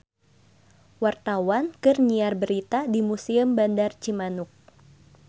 Wartawan keur nyiar berita di Museum Bandar Cimanuk